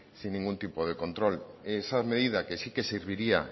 sin ningún tipo de control esa medida que sí que serviría